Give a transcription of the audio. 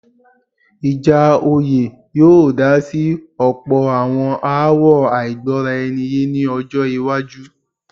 ìjà oyè yóò dá sí ọ̀pọ̀ àwọn aáwọ̀ àìgbọ́raẹniyé ní ọjọ́-iwájú.